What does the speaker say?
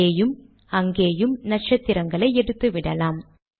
இங்கேயும் அங்கேயும் நக்ஷத்திரங்களை எடுத்துவிடலாம்